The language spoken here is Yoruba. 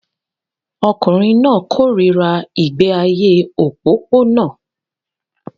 Ọkùnrin náà kórìíra ìgbé ayé òpópónà